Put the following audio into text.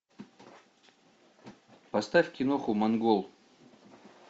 поставь киноху монгол